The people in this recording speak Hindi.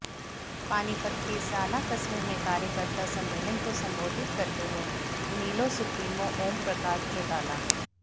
पानीपत के इसराना कस्बे में कार्यकर्ता सम्मेलन को संबोधित करते हुए इनेलो सुप्रीमो ओमप्रकाश चौटाला